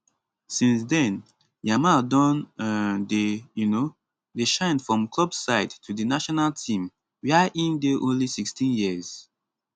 since den yamal don um dey um dey shine from club side to di national team wia im dey only 16 years